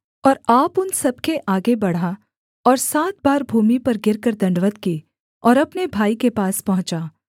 और आप उन सब के आगे बढ़ा और सात बार भूमि पर गिरकर दण्डवत् की और अपने भाई के पास पहुँचा